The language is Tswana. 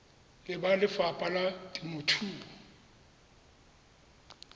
le ba lefapha la temothuo